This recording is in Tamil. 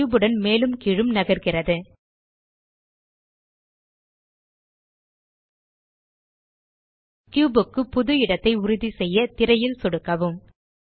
கியூப் உடன் மேலும் கீழும் நகர்கிறது கியூப் க்கு புது இடத்தை உறுதிசெய்ய திரையில் சொடுக்கவும்